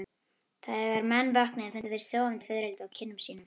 Þegar menn vöknuðu fundu þeir sofandi fiðrildi á kinnum sínum.